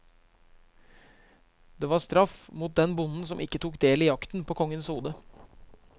Det var straff mot den bonden som ikke tok del i jakten på kongens hode.